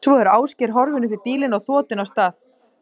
Svo er Ásgeir horfinn upp í bílinn og þotinn af stað.